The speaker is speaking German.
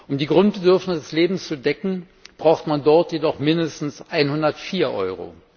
Um die Grundbedürfnisse des Lebens zu decken, braucht man dort jedoch mindestens 104 Euro.